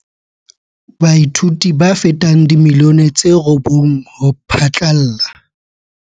Baithuti ba fetang dimilione tse robong ho phatlalla